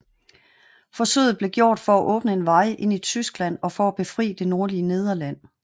Forsøget blev gjort for at åbne en vej ind i Tyskland og for at befri det nordlige Nederland